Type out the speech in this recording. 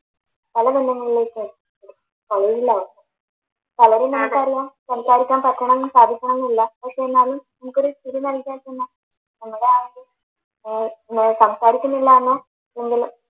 പല ബന്ധങ്ങളിലേക്കും സംസാരിക്കാൻ തക്കവണ്ണം കാര്യങ്ങളൊന്നും ഇല്ല പക്ഷെ എന്നാലും നമുക്കൊരു